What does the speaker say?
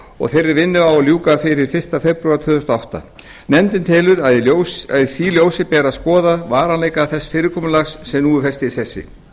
og þeirri vinnu á að ljúka fyrir fyrsta febrúar tvö þúsund og átta nefndin telur að í því ljósi beri að skoða varanleika þess fyrirkomulags sem nú er fest í sessi